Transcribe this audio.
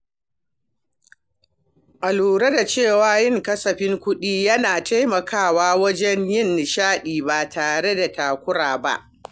Na lura cewa yin kasafin kuɗi yana taimakawa wajen yin nishaɗi ba tare da takura ba.